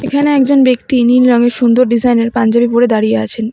এখানে একজন ব্যক্তি নীল রঙের সুন্দর ডিজাইনের পাঞ্জাবি পরে দাঁড়িয়ে আছেন এ--